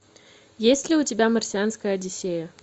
есть ли у тебя марсианская одиссея